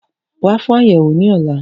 Wa fun ayẹwo ni ọla!